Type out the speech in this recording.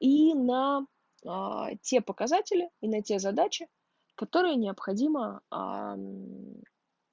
и нам аа те показатели и на те задачи которые необходимо аа